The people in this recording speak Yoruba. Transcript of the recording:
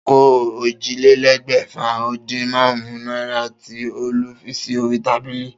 Ta ni ó kó ójìlélégbèfà-o-din-márún-ún náírà tí Olú fi sí orí tábìlì?